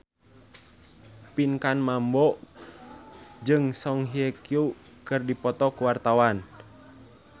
Pinkan Mambo jeung Song Hye Kyo keur dipoto ku wartawan